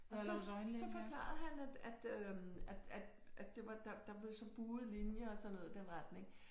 Og så så forklarede han at at øh at at at det var der blev så buede linjer og sådan noget i den retning